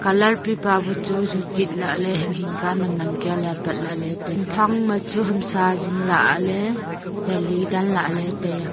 colour pipa chu ju toh lahle hing hing ka nan nan ka le apat lahle tai a hamphang ma chu hamsa jing lahle jali danla le tai a.